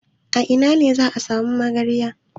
A ina ne za a sami magarya?